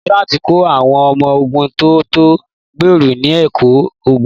Lieutẹ́nátì ti kọ́ àwọn ọmọ ogun tó tó ẹgbẹ̀rún ní ẹ̀kọ́ ogun.